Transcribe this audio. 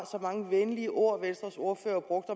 mange venlige ord venstres ordfører brugte